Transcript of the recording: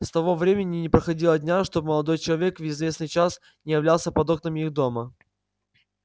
с того времени не проходило дня чтоб молодой человек в известный час не являлся под окнами их дома